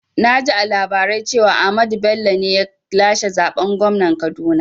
Naji a labarai cewa Ahmad Bello ne ya lashe zaɓen gwamnan Kaduna